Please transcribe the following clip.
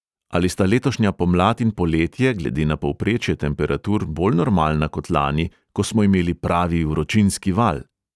Ali sta letošnja pomlad in poletje glede na povprečje temperatur bolj normalna kot lani, ko smo imeli pravi vročinski val?